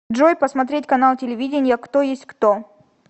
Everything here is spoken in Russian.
джой посмотреть канал телевидения кто есть кто